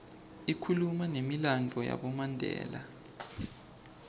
ikhuluma numilandvo yabomandela